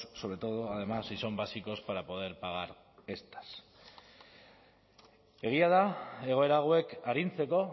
sobre todo además si son básicos para poder pagar estas egia da egoera hauek arintzeko